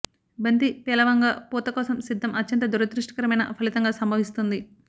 బంతి పేలవంగా పూత కోసం సిద్ధం అత్యంత దురదృష్టకరమైన ఫలితంగా సంభవిస్తుంది